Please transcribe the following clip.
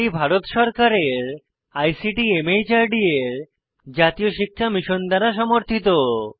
এটি ভারত সরকারের আইসিটি মাহর্দ এর জাতীয় শিক্ষা মিশন দ্বারা সমর্থিত